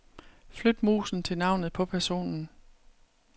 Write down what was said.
Flyt musen til navnet på personen.